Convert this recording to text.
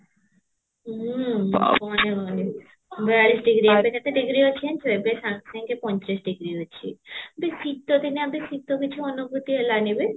ହୁଁ ଆଉ କଣ ଯେ କହିବି ବୟାଳିଶ degree ଆହୁରି କେତେ degree ଅଛି ଜାଣିଛୁ ଏବେ ସାଙ୍ଗ ସାଙ୍ଗ ପଇଁଚାଳିଶ degree ଅଛି ବେ ଶିତ ଦିନେ ଶିତ କିଛି ଅନୁଭୂତି ହେଲାନି ବେ